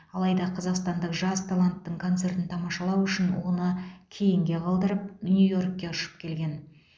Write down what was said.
алайда қазақстандық жас таланттың концертін тамашалау үшін оны кейінге қалдырып нью йоркке ұшып келген